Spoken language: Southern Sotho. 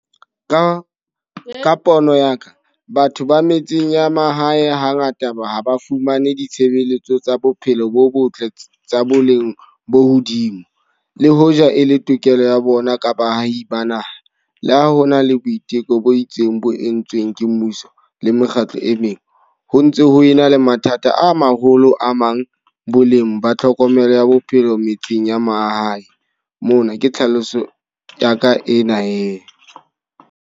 Ka ka pono ya ka, batho ba metseng ya mahae ha ngata ba ha ba fumane ditshebeletso tsa bophelo bo botle tsa boleng bo hodimo. Le hoja e le tokelo ya bona ka baahi ba naha. Le ha ho na le boiteko bo itseng bo entsweng ke mmuso le mekgatlo e meng. Ho ntse ho ena le mathata a maholo a mang, boleng ba tlhokomelo ya bophelo metseng ya mahae. Mona ke tlhaloso ya ka ena he.